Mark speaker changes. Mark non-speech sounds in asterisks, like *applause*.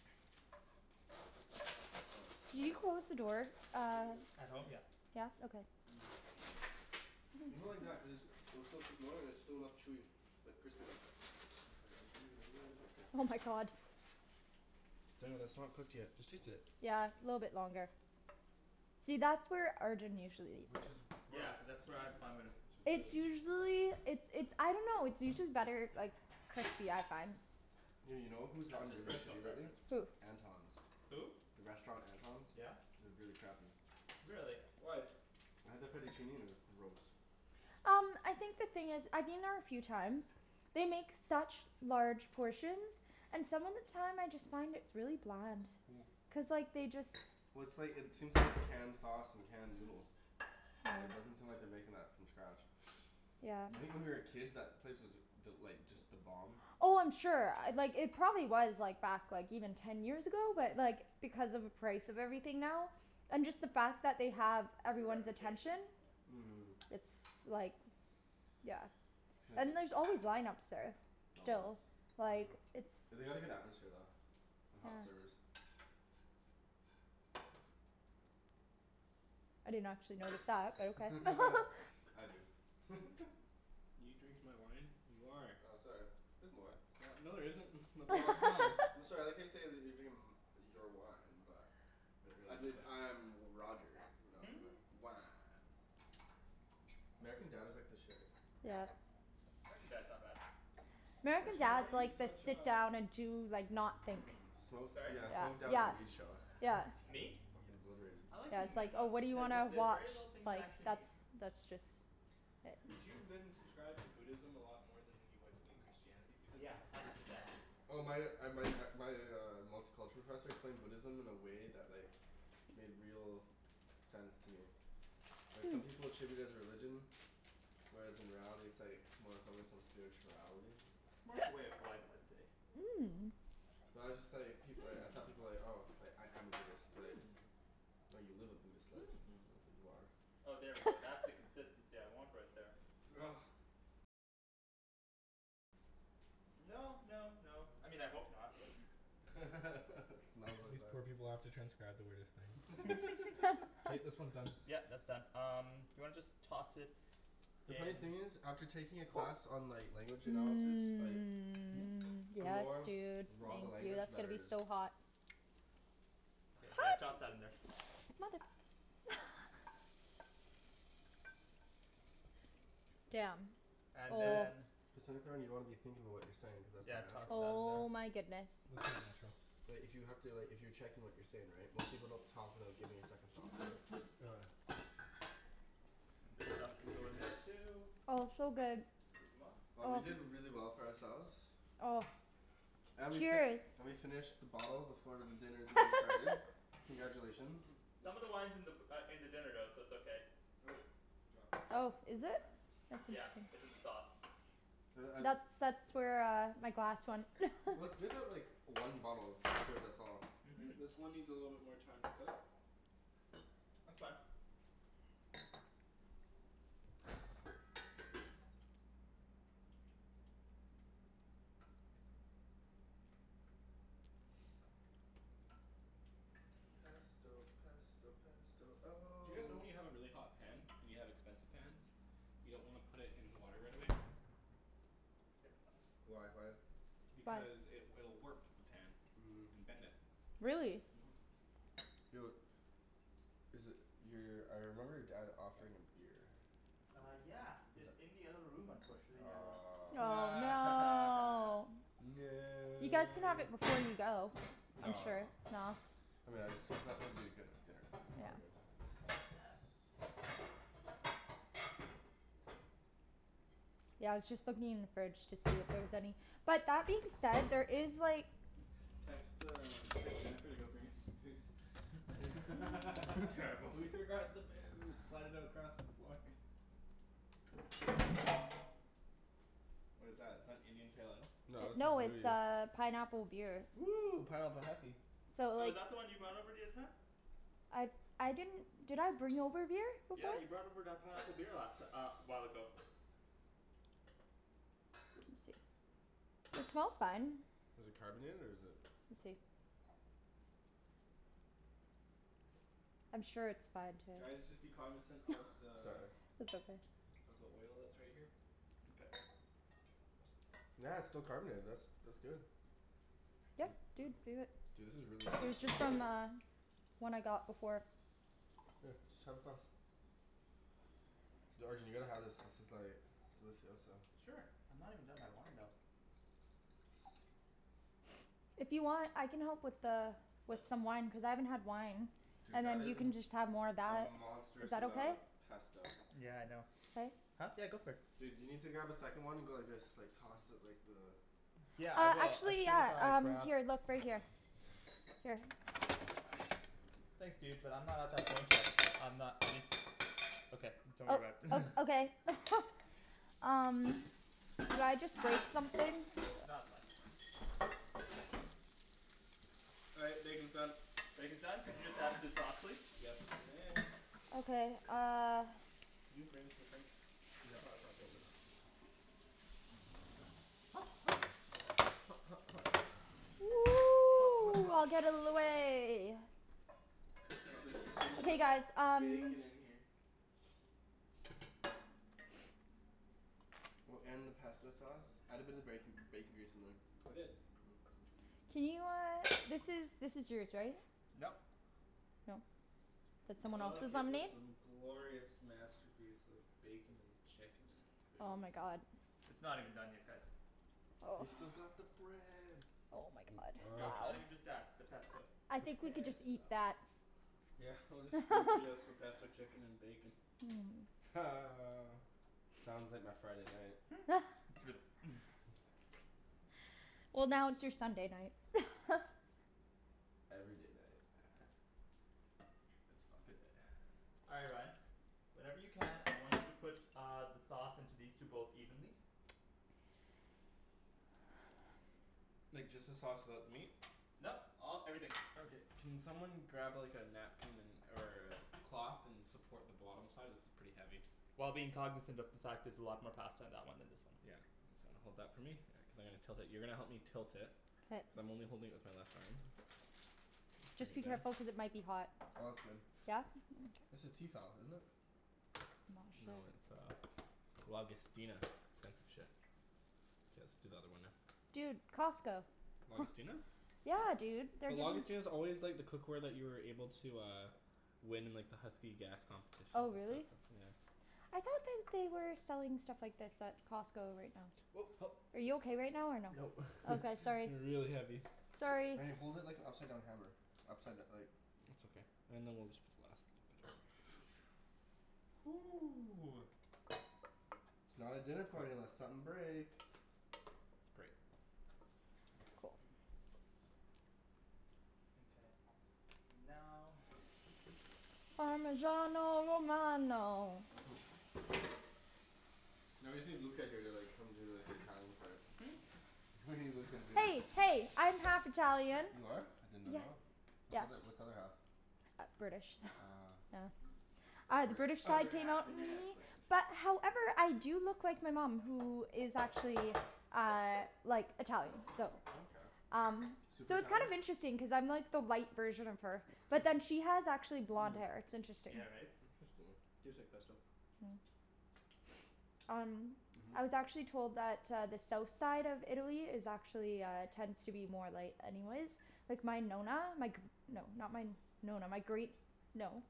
Speaker 1: *noise*
Speaker 2: I want a
Speaker 3: Can
Speaker 2: slice.
Speaker 3: you close the door,
Speaker 4: I
Speaker 3: uh
Speaker 4: don't think it that's
Speaker 1: At
Speaker 4: done
Speaker 1: home?
Speaker 4: yet.
Speaker 1: Yeah.
Speaker 3: Yeah? Okay.
Speaker 2: People like that cuz, they'll still put more and it's still enough chewy, but crispy though.
Speaker 4: *inaudible* I just wanna get it a little bit crispy.
Speaker 3: Oh my god.
Speaker 4: Daniel, that's not cooked yet.
Speaker 2: Just taste it.
Speaker 3: Yeah, little bit longer. See, that's where Arjan usually eats.
Speaker 1: Yeah
Speaker 4: Gross.
Speaker 1: cuz that's where I *inaudible*
Speaker 4: Which is
Speaker 3: It's
Speaker 4: really gross.
Speaker 3: usually, it's it's I dunno, it's usually better if like crispy, I find.
Speaker 2: Yeah, you know who's
Speaker 1: That's
Speaker 2: gotten
Speaker 1: his
Speaker 2: really
Speaker 1: personal
Speaker 2: shitty lately?
Speaker 1: preference.
Speaker 3: Who?
Speaker 2: Anton's.
Speaker 1: Who?
Speaker 2: The restaurant Anton's?
Speaker 1: Yeah?
Speaker 2: It was really crappy.
Speaker 1: Really?
Speaker 4: Why?
Speaker 2: I had the fettuccine and it was gross.
Speaker 3: Um I think the thing is, I've been there a few times. They make such large portions. And some of the time I just find it's really bland.
Speaker 2: *noise*
Speaker 3: Cuz like, they just
Speaker 2: Well it's like, it seems like it's canned sauce and canned noodle. Yeah, it doesn't seem like they're making that from scratch.
Speaker 3: Yeah.
Speaker 2: I think when we were kids that place was th- like, just the bomb.
Speaker 3: Oh I'm sure. Uh like it probably was like back like even ten years ago. But like, because of the price of everything now and just the fact that they have
Speaker 1: Their
Speaker 3: everyone's attention.
Speaker 1: reputation? Yeah.
Speaker 2: Mhm.
Speaker 3: It's like Yeah.
Speaker 2: It's gonna be
Speaker 3: And there's
Speaker 2: c-
Speaker 3: always line ups there.
Speaker 2: Always.
Speaker 3: Still. Like, it's
Speaker 2: They had a good atmosphere though. And
Speaker 3: Yeah.
Speaker 2: hot servers.
Speaker 3: I didn't actually notice that, but okay. *laughs*
Speaker 2: *laughs* I do. *laughs*
Speaker 4: You drinking my wine? You are!
Speaker 2: Oh sorry. There's more.
Speaker 4: No there isn't. *laughs* My *inaudible* is gone.
Speaker 2: I'm
Speaker 3: *laughs*
Speaker 2: sorry, I like how you say that they're drinking m- your wine, but
Speaker 4: But
Speaker 2: I
Speaker 4: really, you
Speaker 2: believe
Speaker 4: dick.
Speaker 2: I'm Roger.
Speaker 1: *laughs*
Speaker 2: Wah. American Dad is like the shit.
Speaker 3: Yeah.
Speaker 1: American Dad's not bad.
Speaker 3: American
Speaker 4: Arjan why are
Speaker 3: Dad's
Speaker 4: you
Speaker 3: like the
Speaker 4: such
Speaker 3: sit
Speaker 4: a
Speaker 3: down and do like, not think.
Speaker 4: Minimalist.
Speaker 2: Smoke,
Speaker 1: Sorry?
Speaker 2: yeah, smoke down
Speaker 3: Yeah.
Speaker 2: and weed show.
Speaker 3: Yeah.
Speaker 1: Me?
Speaker 2: Fuckin' obliterated.
Speaker 1: I like
Speaker 3: Yeah,
Speaker 1: being
Speaker 3: it's
Speaker 1: a
Speaker 3: like, oh
Speaker 1: minimalist.
Speaker 3: what do you
Speaker 1: There's a-
Speaker 3: wanna
Speaker 1: there's
Speaker 3: watch?
Speaker 1: very little
Speaker 3: It's
Speaker 1: things I
Speaker 3: like
Speaker 1: actually
Speaker 3: that's
Speaker 1: need.
Speaker 3: that's just
Speaker 4: Did you then subscribe to Buddhism a lot more than you would with Christianity? Because
Speaker 1: Yeah.
Speaker 4: then
Speaker 1: Hundred percent.
Speaker 2: Oh my uh my uh my uh multiculture professor explained Buddhism in a way that like made real sense to me. Like some people treat it as religion whereas in reality it's like more focused on spirituality.
Speaker 1: It's more of a way
Speaker 3: *noise*
Speaker 1: of life, I'd say.
Speaker 3: Mmm.
Speaker 2: Well I just like, people y- I thought people like, "Oh, I
Speaker 4: Hmm.
Speaker 2: am a Buddhist," like
Speaker 4: Hmm.
Speaker 2: "No, you live a Buddhist life. Not that you
Speaker 4: Hmm.
Speaker 2: are."
Speaker 1: Oh there we go. That's the
Speaker 3: *laughs*
Speaker 1: consistency I want right there.
Speaker 4: *noise*
Speaker 1: No no no, I mean I hope not.
Speaker 2: *laughs* It
Speaker 1: *noise*
Speaker 2: smells like
Speaker 4: These
Speaker 2: that.
Speaker 4: poor people have to transcribe the weirdest things.
Speaker 2: *laughs*
Speaker 1: *laughs*
Speaker 4: K,
Speaker 3: *laughs*
Speaker 4: this one's done.
Speaker 1: Yeah, that's done. Um do you wanna just toss it
Speaker 2: The funny
Speaker 1: in
Speaker 2: thing is, after taking a
Speaker 4: *noise*
Speaker 2: class on like language analysis, like
Speaker 3: Mmm.
Speaker 2: the
Speaker 3: Yes
Speaker 2: more
Speaker 3: dude.
Speaker 2: raw the
Speaker 3: Thank you.
Speaker 2: language, the
Speaker 3: That's gonna
Speaker 2: better
Speaker 3: be
Speaker 2: it is.
Speaker 3: so hot.
Speaker 1: Yeah, toss
Speaker 3: Hot!
Speaker 1: that in there.
Speaker 3: *noise* Mother *noise* Damn.
Speaker 1: And
Speaker 3: Oh.
Speaker 1: then
Speaker 2: *inaudible* you wanna be thinking about what you're saying cuz that's
Speaker 1: Yeah,
Speaker 2: not
Speaker 1: toss
Speaker 2: natural.
Speaker 1: that in there.
Speaker 3: Oh my goodness.
Speaker 4: It's all natural.
Speaker 2: But if you have to, like if you're checking what you're saying right, most people don't talk without giving it a second thought, right?
Speaker 4: *noise*
Speaker 1: This stuff can go in there too.
Speaker 3: Oh it's so good.
Speaker 1: 'scuzez moi.
Speaker 2: Oh we did really well for ourselves.
Speaker 3: Oh.
Speaker 2: And we fi-
Speaker 3: Cheers.
Speaker 2: we finished the bottle before dinner's even started.
Speaker 3: *laughs*
Speaker 2: Congratulations.
Speaker 1: Some of the wine's in the b- uh in the dinner though, so it's okay.
Speaker 4: Nope. You dropped the chicken.
Speaker 3: Oh, is
Speaker 1: Would you
Speaker 3: it?
Speaker 1: mind? Yeah. It's in the sauce.
Speaker 2: Like
Speaker 3: That's
Speaker 2: I
Speaker 3: that's where uh my glass went.
Speaker 2: Well, it's
Speaker 3: *laughs*
Speaker 2: good that like one bottle *inaudible* us all.
Speaker 1: Mhm.
Speaker 4: Great. This one needs a little bit more time to cook.
Speaker 1: That's fine.
Speaker 2: Pesto pesto pesto
Speaker 4: Do
Speaker 2: oh
Speaker 4: you guys know when you have a really hot pan and you have expensive pans you don't wanna put it in the water right away?
Speaker 1: Get some.
Speaker 2: Why, why?
Speaker 3: Why?
Speaker 4: Because it will warp the pan.
Speaker 2: Mmm.
Speaker 4: And bend it.
Speaker 3: Really?
Speaker 4: Mhm.
Speaker 2: Yo Is it, your, I remember your dad offering a beer.
Speaker 1: Uh yeah. It's in the other room unfortunately now though.
Speaker 2: Aw.
Speaker 3: Aw, no!
Speaker 4: *laughs*
Speaker 3: You guys can have
Speaker 2: No!
Speaker 3: it before you go. I'm
Speaker 2: No
Speaker 3: sure,
Speaker 2: no.
Speaker 3: no.
Speaker 2: I mean I just see something that'd be good with dinner. That's all.
Speaker 4: Fuck yeah.
Speaker 3: Yeah, I was just looking in the fridge to see if there is any. But that being said, there is like
Speaker 4: Text the, text Jennifer to go bring us some booze.
Speaker 1: *laughs* That's
Speaker 4: *laughs*
Speaker 1: terrible.
Speaker 4: We forgot the booze! Slide it across the floor. *laughs* What is that, is that Indian Pale Ale?
Speaker 2: No this is
Speaker 3: No it's
Speaker 2: Moody.
Speaker 3: uh pineapple beer.
Speaker 4: Woo! Pineapple heffy.
Speaker 3: So
Speaker 1: Oh is
Speaker 3: like
Speaker 1: that the one you brought over the other time?
Speaker 3: I I didn't Did I bring over a beer before?
Speaker 1: Yeah you brought over that pineapple beer last ti- uh a while ago.
Speaker 3: Let me see. It smells fine.
Speaker 2: Is it carbonated or is it
Speaker 3: We'll see. I'm sure it's fine to
Speaker 4: Guys just be cognizant of
Speaker 3: *laughs*
Speaker 4: the
Speaker 2: Sorry.
Speaker 3: That's okay.
Speaker 4: of the oil that's right here.
Speaker 1: Okay.
Speaker 2: Yeah, it's still carbonated, this. That's good.
Speaker 3: Yep dude, do it.
Speaker 2: Dude this is really
Speaker 3: It was
Speaker 2: tasty.
Speaker 3: just on the One I got before.
Speaker 2: Here, just have a glass. Yo Arjan you gotta have this, this is like delicioso.
Speaker 1: Sure. I'm not even done my wine though.
Speaker 4: *noise*
Speaker 3: If you want I can help with the with some wine, cuz I haven't had wine.
Speaker 2: Dude
Speaker 3: And
Speaker 2: that
Speaker 3: then you
Speaker 2: is
Speaker 3: can just have more of
Speaker 2: a
Speaker 3: that.
Speaker 2: monstrous
Speaker 3: Is that
Speaker 2: amount
Speaker 3: okay?
Speaker 2: of pesto.
Speaker 1: Yeah I know.
Speaker 3: Thanks.
Speaker 1: Huh? Yeah go for it.
Speaker 2: Dude you need to grab a second one and go like this, like toss it like the
Speaker 1: Yeah I
Speaker 3: Uh
Speaker 1: will, as
Speaker 3: actually
Speaker 1: soon as
Speaker 3: yeah
Speaker 1: I
Speaker 3: um,
Speaker 1: grab
Speaker 3: here, look, right here. Here.
Speaker 1: Thanks dude, but I'm not at that point yet, I'm not um Okay. Don't
Speaker 3: Oh
Speaker 1: worry about it.
Speaker 3: uh okay. *laughs* Um Did I just break something?
Speaker 1: Nah, it's fine.
Speaker 4: All right, bacon's done.
Speaker 1: Bacon's done? Could you just add it to the sauce please?
Speaker 4: Yes you may.
Speaker 3: Okay uh
Speaker 4: Can you bring this to the sink?
Speaker 2: Yeah, untucker this. Hot hot. Hot hot hot. Hot hot hot.
Speaker 3: *noise* Get out of the way.
Speaker 4: Wow there's so
Speaker 3: Hey
Speaker 4: much
Speaker 3: guys um
Speaker 4: bacon in here.
Speaker 2: Well, and the pesto sauce. Add a bit of bacon, bacon grease in there.
Speaker 4: I did.
Speaker 2: *noise*
Speaker 3: Can you uh, this is, this is yours right?
Speaker 1: Nope.
Speaker 3: No. That's someone
Speaker 4: Look
Speaker 3: else's
Speaker 4: at
Speaker 3: on
Speaker 4: this
Speaker 3: me?
Speaker 4: um glorious masterpiece of bacon and chicken and
Speaker 3: Oh
Speaker 4: food.
Speaker 3: my god.
Speaker 1: It's not even done yet guys.
Speaker 2: We've still got the bread.
Speaker 3: Oh my god.
Speaker 1: Nope, not even just that. The pesto.
Speaker 3: I think we could just
Speaker 2: Pesto.
Speaker 3: eat that.
Speaker 4: Yeah, we'll spoon
Speaker 3: *laughs*
Speaker 4: feed us the pesto chicken and bacon.
Speaker 2: Ha. Sounds like my Friday night.
Speaker 1: *laughs*
Speaker 3: *laughs*
Speaker 1: Flip. *laughs*
Speaker 2: *noise*
Speaker 3: Well now it's your Sunday night. *laughs*
Speaker 2: Every day night. *noise* It's fuck a day.
Speaker 1: All right Ryan. Whenever you can, I want you to put uh the sauce into these two bowls evenly.
Speaker 4: Like just the sauce without the meat?
Speaker 1: Nope, all, everything.
Speaker 4: Okay. Can someone grab like a napkin and or a cloth and support the bottom side? This is pretty heavy.
Speaker 1: While being cognizant of the fact there's a lot more pasta in that one than this one.
Speaker 4: Yeah. So hold that for me, yeah, cuz I'm gonna tilt it. You're gonna help me tilt it. Cuz
Speaker 3: K.
Speaker 4: I'm only holding it with my left arm.
Speaker 3: Just be careful cuz it might be hot.
Speaker 2: Oh that's good.
Speaker 3: Yeah?
Speaker 2: This is Tefal, isn't it?
Speaker 4: No it's uh Lagostina. It's expensive shit. K, let's do the other one now.
Speaker 3: Dude, Costco. *noise*
Speaker 4: Lagostina?
Speaker 3: Yeah dude, they're
Speaker 4: But
Speaker 3: giving
Speaker 4: Lagostina's always like the cookware that you were able to uh win in like the Husky gas
Speaker 3: Oh
Speaker 4: competitions and
Speaker 3: really?
Speaker 4: stuff, yeah.
Speaker 3: I thought that they were selling stuff like this at Costco right now.
Speaker 4: Oh help.
Speaker 3: Are you okay right now or no?
Speaker 4: Nope. *laughs*
Speaker 3: Okay, sorry.
Speaker 4: They're really heavy.
Speaker 3: Sorry!
Speaker 2: Wait, hold it like an upside down hammer. Upside d- like
Speaker 4: It's okay. And then we'll just put the last little bit.
Speaker 2: *noise*
Speaker 1: Ooh.
Speaker 2: It's not a dinner party unless something breaks.
Speaker 4: Great.
Speaker 1: Mkay. Now
Speaker 3: Parmesano romano.
Speaker 2: *laughs* No, you see Luca here they're like, come do like the Italian part.
Speaker 1: Hmm?
Speaker 2: *laughs* He's not gonna do this.
Speaker 3: Hey hey, I'm half Italian.
Speaker 2: You are? I did not know.
Speaker 3: Yes.
Speaker 2: What's the
Speaker 3: Yes.
Speaker 2: other what's the other half?
Speaker 3: Uh British.
Speaker 2: Ah.
Speaker 3: Oh. Ah, the British
Speaker 2: *noise*
Speaker 4: Other
Speaker 3: side came
Speaker 4: half
Speaker 3: out *noise*
Speaker 4: inadequate.
Speaker 3: But however I do look like my mom, who is actually uh like Italian, so
Speaker 2: Oh okay.
Speaker 3: um
Speaker 2: Super
Speaker 3: So it's kind
Speaker 2: Italian?
Speaker 3: of interesting cuz I'm like the light version of her.
Speaker 2: *laughs* Hmm.
Speaker 1: Yeah, right?
Speaker 2: Interesting.
Speaker 4: Tastes like pesto.
Speaker 3: Hmm. Um
Speaker 2: Mhm.
Speaker 3: I was actually told that uh the south side of Italy is actually uh, tends to be more light anyways. Like my Nonna, my gr- No, not my Nonna, my great No.